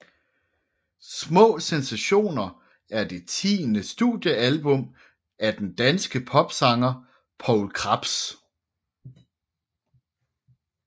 Små sensationer er det tiende studiealbum af den danske popsanger Poul Krebs